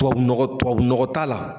Tubabu nɔgɔ tubabu nɔgɔ t'a la